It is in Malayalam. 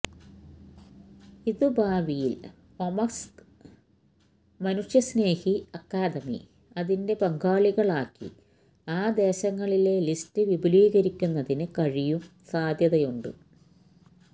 ഇത് ഭാവിയിൽ ഒമ്സ്ക് മനുഷ്യസ്നേഹി അക്കാദമി അതിന്റെ പങ്കാളികൾ ആക്കി ആ ദേശങ്ങളിലെ ലിസ്റ്റ് വിപുലീകരിക്കുന്നതിന് കഴിയും സാധ്യതയുണ്ട്